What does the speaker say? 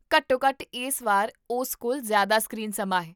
ਘੱਟੋ ਘੱਟ ਇਸ ਵਾਰ ਉਸ ਕੋਲ ਜ਼ਿਆਦਾ ਸਕ੍ਰੀਨ ਸਮਾਂ ਹੈ